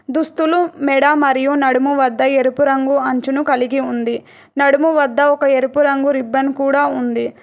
దుస్తులు మెడ మరియు నడుము వద్ద ఎరుపు రంగు అంచును కలిగి ఉంది నడుము వద్ద ఒక ఎరుపు రంగు రిబన్ కూడ ఉంది.